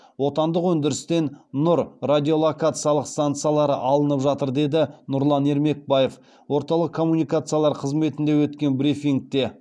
отандық өндірістен нұр радиолокациялық станциялары алынып жатыр деді нұрлан ермекбаев орталық коммуникациялар қызметінде өткен брифингте